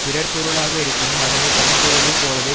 பிறர் பொருளாக இருப்பினும் அதனை தன் பொருளை போலவே